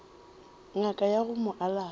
ngaka ya go mo alafa